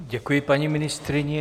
Děkuji paní ministryni.